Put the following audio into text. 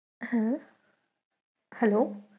হ্যাঁ hello